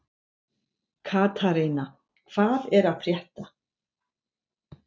Katharina, hvað er að frétta?